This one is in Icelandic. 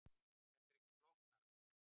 Þetta er ekki flóknara